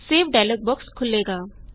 save dialog box ਖੁੱਲੇਗਾ